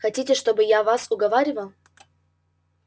хотите чтобы я вас уговаривал